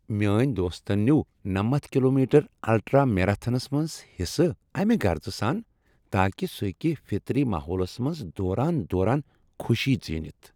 میٲنۍ دوستن نِیو نَمتھ کلومیٹر الٹرا میراتھنس منٛز حصہٕ اَمِہ غرضہٕ سان تاکہ سُہ ہیٚکِہ فطری ماحولس منٛز دوران دوران خوشی ژینتھ